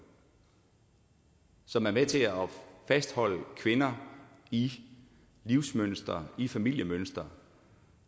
som er med til at fastholde kvinder i livsmønstre i familiemønstre